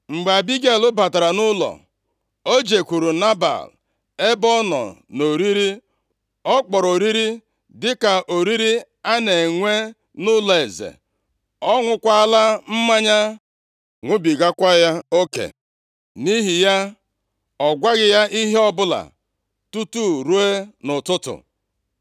Mgbe Abigel batara nʼụlọ, o jekwuru Nebal ebe ọ nọ nʼoriri ọ kpọrọ, oriri dịka oriri a na-enwe nʼụlọeze. Ọ ṅụọkwala mmanya ṅụbigakwa ya oke; nʼihi ya ọ gwaghị ya ihe ọbụla tutu ruo nʼụtụtụ.